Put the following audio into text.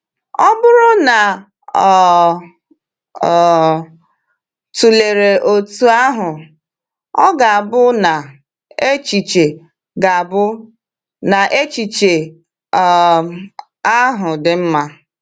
Ọ bụrụ na o um tụlere otú ahụ, ọ̀ ga-abụ na echiche ga-abụ na echiche um ahụ dị mma?